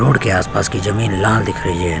Road के आस - पास की जमीन लाल दिख रही है।